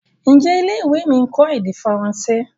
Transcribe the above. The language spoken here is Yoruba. Njé ilé-ìwé mí nkọ èdè Faransé?